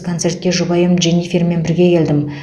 концертке жұбайым дженифермен бірге келдім